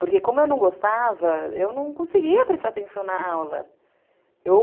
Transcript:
Porque como eu não gostava, eu não conseguia prestar atenção na aula.